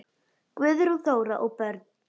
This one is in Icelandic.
Guðrún Þóra og börn.